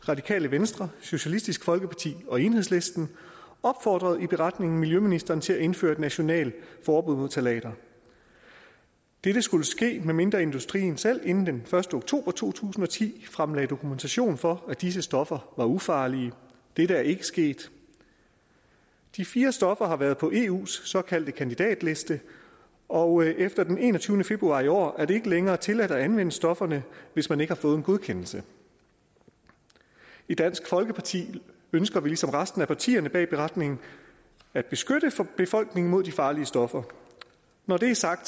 radikale venstre socialistisk folkeparti og enhedslisten opfordrede i beretningen miljøministeren til at indføre et nationalt forbud mod ftalater dette skulle ske medmindre industrien selv inden den første oktober to tusind og ti fremlagde dokumentation for at disse stoffer er ufarlige dette er ikke sket de fire stoffer har været på eus såkaldte kandidatliste og efter den enogtyvende februar i år er det ikke længere tilladt at anvende stofferne hvis man ikke har fået en godkendelse i dansk folkeparti ønsker vi ligesom resten af partierne bag beretningen at beskytte befolkningen mod de farlige stoffer når det er sagt